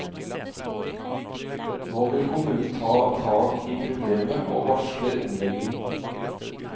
Nå vil kommunen ta tak i problemet og varsler omlegging.